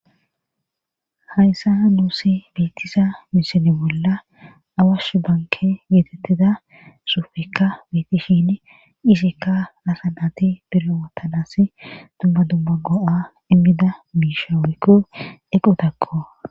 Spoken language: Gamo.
Hayssa nuusi biitisa misile bolla awashu banke yeetettida suufekka bitishin isikka lasanati biro wottanas dumma dumma go7a immida biisha wukko equtakko.